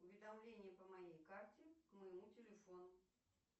уведомление по моей карте к моему телефону